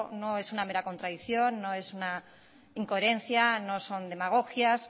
no es una mera contradicción no es una incoherencia no son demagogias